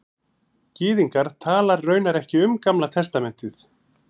Gyðingar tala raunar ekki um Gamla testamentið